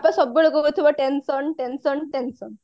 ସବୁବେଳେ କହୁଥିବ tension tension tension